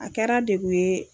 A kɛra degu ye